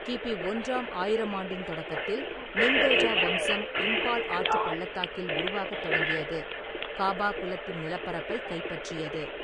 கி.பி. ஒன்றாம் ஆயிரமாண்டின் தொடக்கத்தில், நிங்தோஜா வம்சம் இம்பால் ஆற்றுப் பள்ளத்தாக்கில் உருவாகத் தொடங்கியது, காபா குலத்தின் நிலப்பரப்பைக் கைப்பற்றியது.